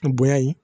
Bonya ye